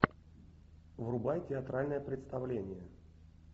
врубай театральное представление